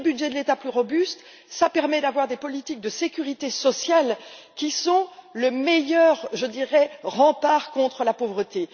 Des budgets de l'État plus robustes, cela permet d'avoir des politiques de sécurité sociale qui sont le meilleur rempart contre la pauvreté.